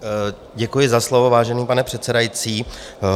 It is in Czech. Děkuji za slovo, vážený pane předsedající.